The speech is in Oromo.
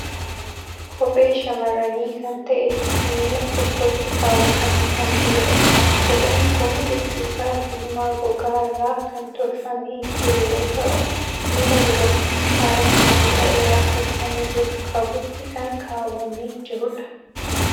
Kophee shamarranii kan ta'e, miila tokkotti kaawwatamee kan jirudha. Kopheen kun bifti isaa diimaa gogaa irraa kan tolfamee jiru yoo ta'u, miila dubartii faaya sibiila irraa tolfamee jiru qabutti kan kaawwamee jirudha.